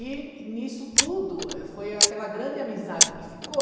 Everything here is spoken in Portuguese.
E nisso tudo eh, foi aquela grande amizade que ficou.